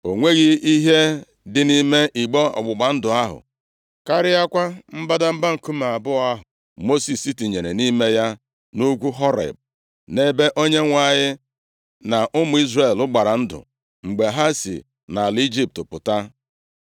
O nweghị ihe dị nʼime igbe ọgbụgba ndụ ahụ, karịakwa mbadamba nkume abụọ ahụ Mosis tinyere nʼime ya nʼugwu Horeb, nʼebe Onyenwe anyị na ụmụ Izrel gbara ndụ, mgbe ha si nʼala Ijipt pụta.